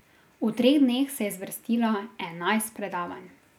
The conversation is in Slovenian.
V treh dneh se je zvrstilo enajst predavanj.